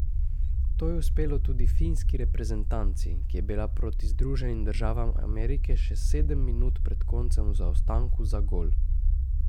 To je uspelo tudi finski reprezentanci, ki je bila proti Združenim državam Amerike še sedem minut pred koncem v zaostanku za gol.